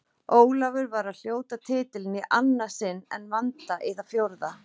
Ólafur var að hljóta titilinn í annað sinn en Vanda í það fjórða.